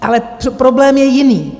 Ale problém je jiný.